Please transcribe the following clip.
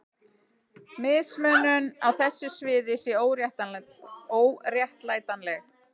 Mismunun á þessu sviði sé óréttlætanleg.